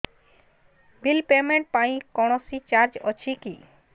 bill payment ପାଇଁ କୌଣସି charge ଅଛି କି